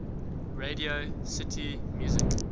radio city music